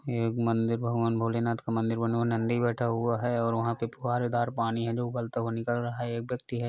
यह एक मंदिर भगवान भोलेनाथ का मंदिर नंदी बैठा हुआ है और वहां पे फुवारेदार पानी है जो उबलता हुआ निकल रहा है एक व्यक्ति है।